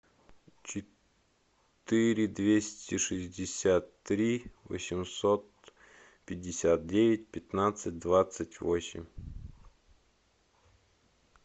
четыре двести шестьдесят три восемьсот пятьдесят девять пятнадцать двадцать восемь